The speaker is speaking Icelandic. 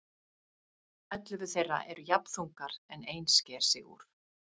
Ellefu þeirra eru jafn þungar en ein sker sig úr.